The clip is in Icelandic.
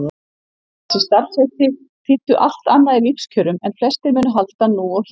En þessi starfsheiti þýddu allt annað í lífskjörum en flestir munu halda nú og hér.